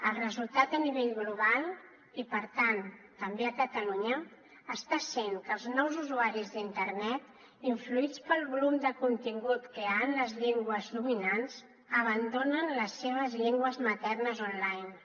el resultat a nivell global i per tant també a catalunya està sent que els nous usuaris d’internet influïts pel volum de contingut que hi ha en les llengües dominants abandonen les seves llengües maternes online